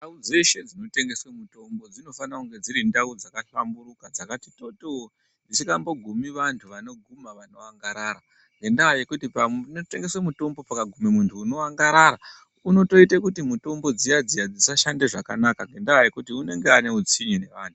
Ndau dzeshe dzinotengeswa mitombo dzinofanire kunge dziri ndau dzakahlamburuka dzakati toto dzisingambogumi vantu vanoguma vanoangarara ngendaa yekuti panotengeswa mutombo pakaguma muntu unoangatara unoite kuti mutombo dziya dziya dzisashanda zvakanaka nekuti anenge ane utsinye nevantu.